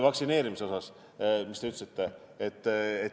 Vaktsineerimise osas, mida te ütlesite.